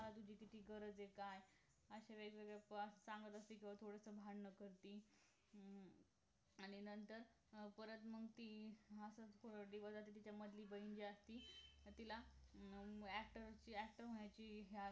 मला तुझी किती गरज आहे काय अश्या वेळी बसस थोडासा सांगत असते कि थोडंसं भांडण करती अं आणि नंतर परत मग ती असच तिझ्यामधली जी बहीण जी असती तिला actor अं actor होण्याची